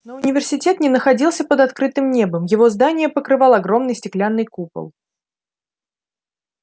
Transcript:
но университет не находился под открытым небом его здания покрывал огромный стеклянный купол